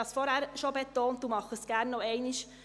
Ich habe es bereits betont und tue es gerne ein weiteres Mal: